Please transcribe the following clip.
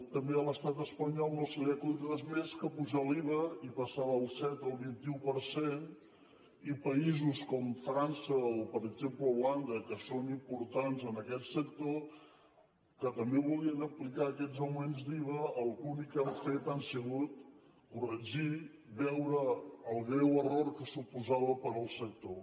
també a l’estat espanyol no se li ha acudit res més que apujar l’iva i passar del set al vint un per cent i països com frança o per exemple holanda que són importants en aquest sector que també volien aplicar aquest augment d’iva l’únic que han fet ha sigut corregir veure el greu error que suposava per al sector